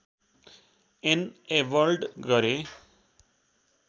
enabled गरे